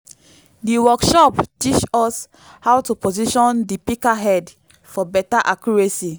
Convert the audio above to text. di workshop teach us how to position di pika head for beta accuracy